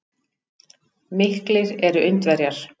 Miklir eru Indverjar.